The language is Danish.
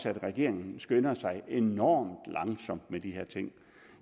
at regeringen skynder sig enormt langsomt med de her ting